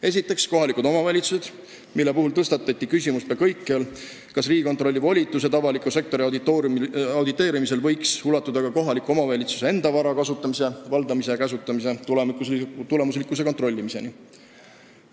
Esiteks, kohalikud omavalitsused, mille puhul tõstatati peaaegu kõikjal küsimus, kas Riigikontrolli volitused avaliku sektori auditeerimisel võiks ulatuda ka kohaliku omavalitsuse enda vara kasutamise, valdamise ja käsutamise tulemuslikkuse kontrollimiseni.